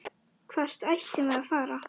Hvert ættum við að fara?